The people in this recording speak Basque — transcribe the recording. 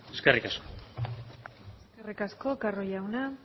eskerrik asko eskerrik asko carro jauna